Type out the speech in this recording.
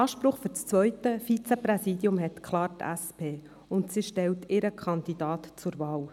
Anspruch auf das zweite Vizepräsidium hat klar die SP, und sie stellt ihren Kandidaten zur Wahl.